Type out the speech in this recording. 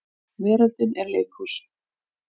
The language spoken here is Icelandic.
Veröldin er leikhús.